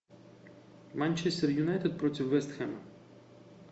манчестер юнайтед против вест хэма